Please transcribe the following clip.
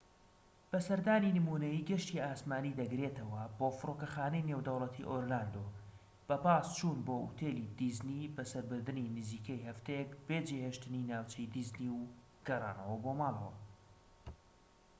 سەردانی نمونەیی گەشتی ئاسمانی دەگرێتەوەە بۆ فرۆکەخانەی نێودەوڵەتی ئۆرلاندۆ بە پاس چوون بۆ ئوتێلی دیزنی بەسەربردنی نزیکەی هەفتەیەک بێ جێهێشتنی ناوچەی دیزنی و گەڕانەوە بۆ ماڵەوە